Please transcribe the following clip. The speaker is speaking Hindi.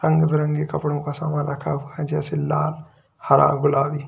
रंग बिरंगे कपड़ों का सामान रखा हुआ है जैसे लाल हरा गुलाबी।